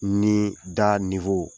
Ni da